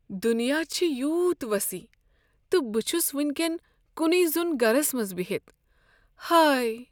دنیا چھےٚ یوٗت وسیع تہٕ بہٕ چھس وٕنۍ کین کنے زوٚن گرس منٛز بہتھ۔ ہاے!